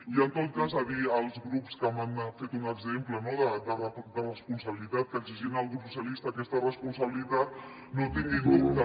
i en tot cas dir als grups que m’ha fet un exemple de responsabilitat que exigien al grup socialista aquesta responsabilitat no tinguin dubtes